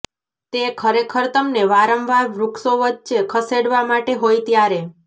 તે ખરેખર તમને વારંવાર વૃક્ષો વચ્ચે ખસેડવા માટે હોય ત્યારે